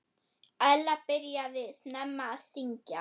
Ella byrjaði snemma að syngja.